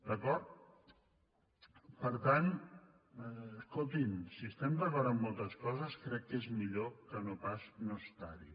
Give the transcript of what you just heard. d’acord per tant escolti’m si estem d’acord amb moltes coses crec que és millor que no pas no estar hi